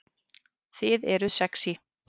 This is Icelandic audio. Þið eruð sexý